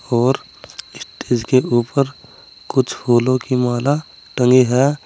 और स्टेज के ऊपर कुछ फूलों की माला टंगी है।